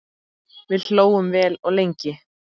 Við hlógum vel og lengi.